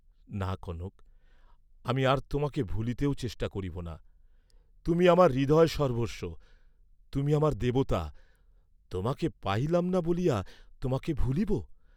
না, কনক, আমি আর তোমাকে ভুলিতেও চেষ্টা করিব না, তুমি আমার হৃদয়সর্বস্ব, তুমি আমার দেবতা, তোমাকে পাইলাম না বলিয়া তোমাকে ভুলিব!